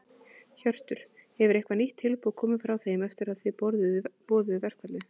Hjörtur: Hefur eitthvað nýtt tilboð komið frá þeim eftir að þið boðuðu verkfallið?